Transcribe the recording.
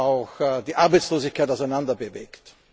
auch die Arbeitslosigkeit auseinander bewegt.